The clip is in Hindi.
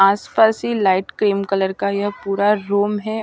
आसपास ही लाइट क्रीम कलर का यह पूरा रूम है।